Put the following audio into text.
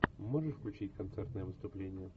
можешь включить концертное выступление